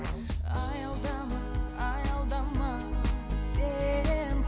аялдама аялдама сен